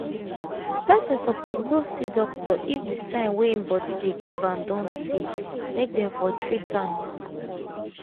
person suppose go see doctor if the sign wey im body dey give am don tey make dem for treat am